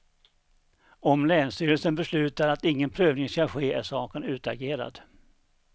Om länsstyrelsen beslutar att ingen prövning skall ske, är saken utagerad.